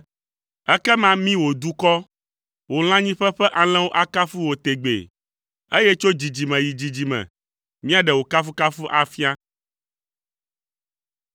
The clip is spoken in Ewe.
Ekema mí wò dukɔ, wò lãnyiƒe ƒe alẽwo akafu wò tegbee, eye tso dzidzime yi dzidzime míaɖe wò kafukafu afia.